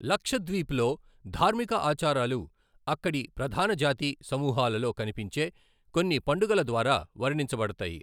లక్షద్వీప్ లో ధార్మిక ఆచారాలు అక్కడి ప్రధాన జాతి సమూహాలలో కనిపించే కొన్ని పండుగల ద్వారా వర్ణించబడతాయి.